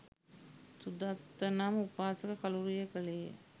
සුදත්ත නම් උපාසක කළුරිය කළේ ය.